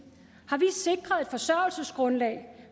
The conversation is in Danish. har et forsørgelsesgrundlag